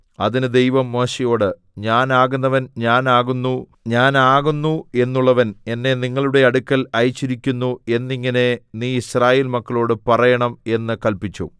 അതിന് ദൈവം മോശെയോട് ഞാൻ ആകുന്നവൻ ഞാൻ ആകുന്നു ഞാൻ ആകുന്നു എന്നുള്ളവൻ എന്നെ നിങ്ങളുടെ അടുക്കൽ അയച്ചിരിക്കുന്നു എന്നിങ്ങനെ നീ യിസ്രായേൽ മക്കളോട് പറയണം എന്ന് കല്പിച്ചു